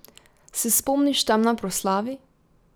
Se spomniš, tam na proslavi?